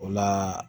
O la